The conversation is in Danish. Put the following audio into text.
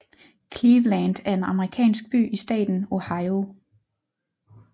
Cleveland er en amerikansk by i staten Ohio